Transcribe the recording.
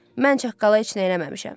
Mən çaqqala heç nə eləməmişəm.